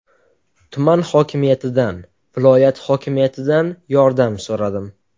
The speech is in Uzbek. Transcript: Tuman hokimiyatidan, viloyat hokimiyatidan yordam so‘radim.